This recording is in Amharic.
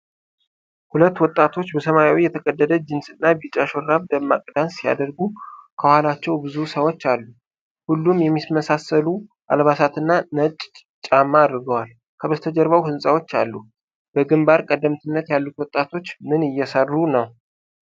ሁለት ወጣቶች በሰማያዊ የተቀደደ ጂንስና ቢጫ ሹራብ ደማቅ ዳንስ ሲያደርጉ፣ ከኋላቸው ብዙ ሰዎች አሉ። ሁሉም የሚመሳሰሉ አልባሳትና ነጭ ጫማ አድርገዋል፤ ከበስተጀርባው ሕንጻዎች አሉ፤ በግንባር ቀደምትነት ያሉት ወጣቶች ምን እየሰሩ ነው?